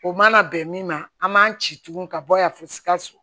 O mana bɛn min ma an man ci tugun ka bɔ yan fo sikaso